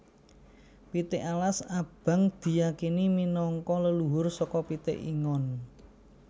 Pitik alas abang diyakini minangka leluhur saka pitik ingon